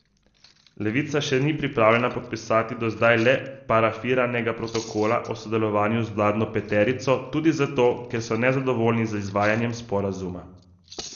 Levica še ni pripravljena podpisati do zdaj le parafiranega protokola o sodelovanju z vladno peterico tudi zato, ker so nezadovoljni z izvajanjem sporazuma.